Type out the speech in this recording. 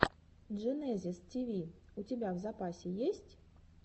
дженезис тиви у тебя в запасе есть